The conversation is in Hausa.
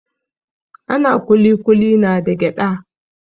Ana kulikuli na da gyada.